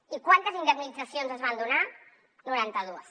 i quantes indemnitzacions es van donar noranta dues